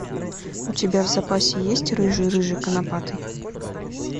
у тебя в запасе есть рыжий рыжий конопатый